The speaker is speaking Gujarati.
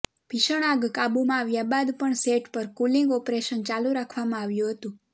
ભીષણ આગ કાબૂમાં આવ્યા બાદ પણ સેટ પર કુલિંગ ઓપરેશન ચાલુ રાખવામાં આવ્યું હતું